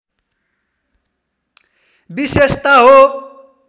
विशेषता हो